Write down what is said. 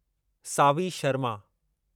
Saavi Sharma